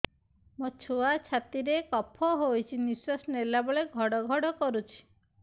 ମୋ ଛୁଆ ଛାତି ରେ କଫ ହୋଇଛି ନିଶ୍ୱାସ ନେଲା ବେଳେ ଘଡ ଘଡ କରୁଛି